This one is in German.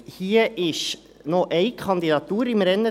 Es ist noch eine Kandidatur im Rennen.